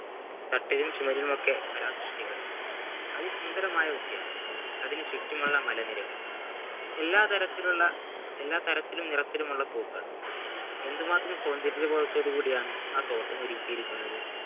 കട്ടിലും ചുമരിലുമൊക്കെ കലാസൃഷ്ടികൾ അതിസുന്ദരമായ ഉദ്യാനം അതിനു ചുറ്റുമുള്ള മലനിരകൾ എല്ലാ തരത്തിലുള്ള എല്ലാ തരത്തിലും നിറത്തിലുമുള്ള പൂക്കൾ എന്തുമാത്രം സൗന്ദര്യബോധത്തോടു കൂടിയാണ് ആ തോട്ടം ഒരുക്കിയിരിക്കിരിക്കുന്നത്